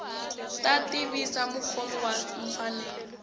ta tivisa mukhomi wa mfanelo